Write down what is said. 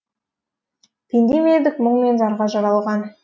пенде ме едік мұң мен зарға жаралған